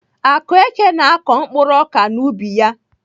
Akueke na-akọ mkpuru ọka n'ubi ya.